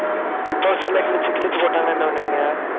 poster எல்லாம் கிழிச்சு கிழிச்சு போட்டாங்கன்னா என்ன பண்ணுவீங்க?